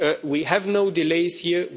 We have no delays here.